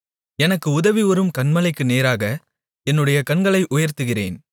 எனக்கு உதவி வரும் மலைகளுக்கு நேராக என்னுடைய கண்களை உயர்த்துகிறேன்